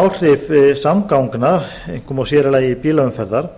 áhrif samgangna einkum og sér í lagi bílaumferðar